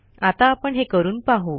आता आपण हे करून पाहू